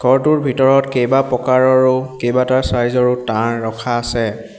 ঘৰটোৰ ভিতৰত কেইবা প্ৰকাৰৰো কেইবাটা চাইজ ৰো তাঁৰ ৰখা আছে।